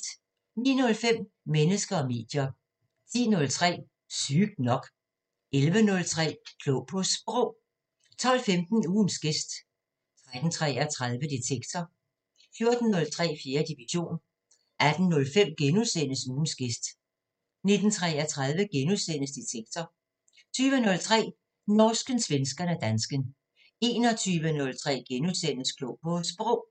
09:05: Mennesker og medier 10:03: Sygt nok 11:03: Klog på Sprog 12:15: Ugens gæst 13:33: Detektor 14:03: 4. division 18:05: Ugens gæst * 19:33: Detektor * 20:03: Norsken, svensken og dansken 21:03: Klog på Sprog *